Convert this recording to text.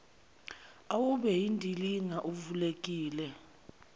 awube yindilinga uvulekile